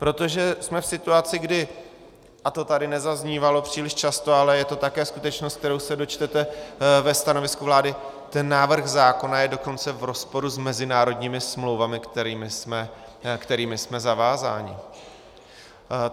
Protože jsme v situaci, kdy, a to tady nezaznívalo příliš často, ale je to také skutečnost, kterou se dočtete ve stanovisku vlády, ten návrh zákona je dokonce v rozporu s mezinárodními smlouvami, kterými jsme zavázáni.